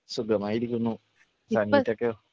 സുഖമായിരിക്കുന്നു. സെനിറ്റക്കോ?